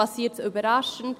Passiert es überraschend?